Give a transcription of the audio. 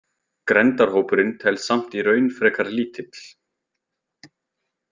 Grenndarhópurinn telst samt í raun frekar lítill.